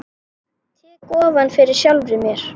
Tek ofan fyrir sjálfri mér.